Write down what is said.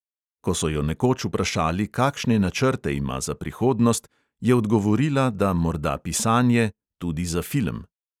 Ko so jo nekoč vprašali, kakšne načrte ima za prihodnost, je odgovorila, da morda pisanje, tudi za film.